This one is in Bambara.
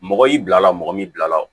Mɔgɔ y'i bila mɔgɔ min bila la